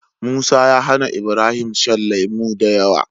Musa ya hAna Ibrahim shan lemo dayawa